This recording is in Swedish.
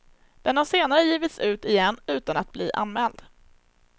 Den har senare givits ut igen utan att bli anmäld.